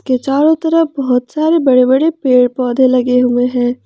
के चारों तेरा बहुत सारे बड़े बड़े पेड़ पौधे लगे हुए हैं।